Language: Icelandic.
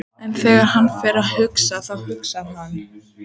En þegar hann fer að hugsa, þá hugsar hann